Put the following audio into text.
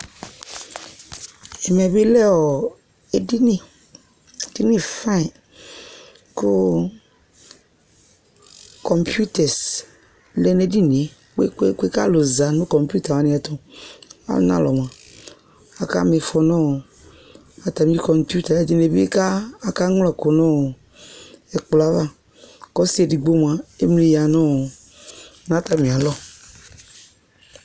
ɛmɛ bi lɛ ɔ edini edini fain kò kɔmputɛs lɛ n'ɛdinie kpekpekpe k'alo za no kɔmputa wani ɛto wani alɔ k'aka m'ifɔ no atami kɔmputa ɛdini bi aka ɣla ɛkò no ɛkplɔ ava k'ɔse edigbo moa emli ya no atami alɔ